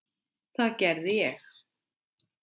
Það gerði ég.